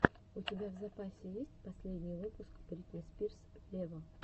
у тебя в запасе есть последний выпуск бритни спирс вево